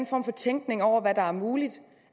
form for tænkning over hvad der er muligt